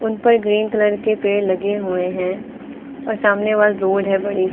उन पर green colour के पेड़ लगे हुए हैं और सामने वाले रोड है बड़ी सी--